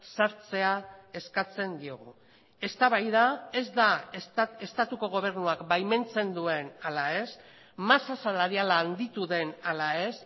sartzea eskatzen diogu eztabaida ez da estatuko gobernuak baimentzen duen ala ez masa salariala handitu den ala ez